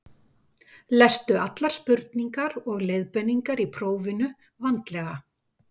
lestu allar spurningar og leiðbeiningar í prófinu vandlega